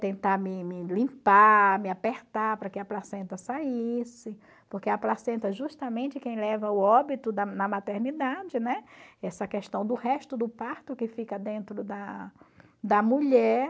tentar me limpar, me apertar para que a placenta saísse, porque a placenta é justamente quem leva ao óbito da na maternidade, né, essa questão do resto do parto que fica dentro da da mulher.